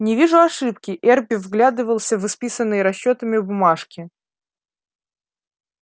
не вижу ошибки эрби вглядывался в исписанные расчётами бумажки